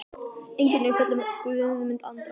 Engin umfjöllun um Guðmund Andra?